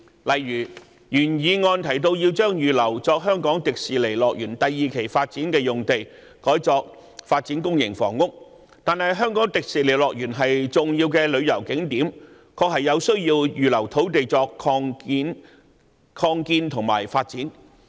例如，原議案提到要將預留作香港迪士尼樂園第二期發展的用地，改作發展公營房屋，但香港迪士尼樂園是重要的旅遊景點，確有需要預留土地作擴建和發展。